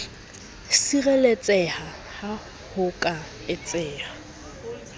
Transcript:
sireletseha ha ho ka etseha